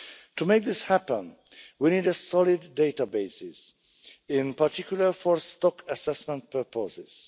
To make this happen, we need solid databases, in particular for stock assessment purposes.